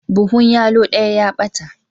Buhun yallo daya ya bata.